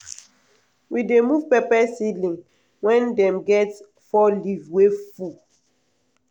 we dey move pepper seedling wen dem get four leaf wey full.